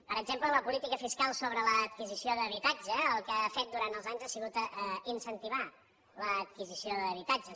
per exemple la política fiscal sobre l’adquisició d’habitatge el que ha fet durant els anys ha sigut incentivar la adquisició d’habitatges